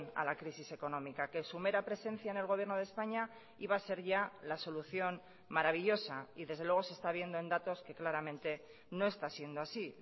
a la crisis económica que su mera presencia en el gobierno de españa iba a ser ya la solución maravillosa y desde luego se está viendo en datos que claramente no está siendo así